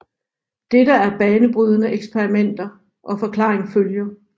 Dette er banebrydende eksperimenter og forklaring følger